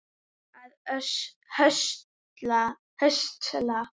að höstla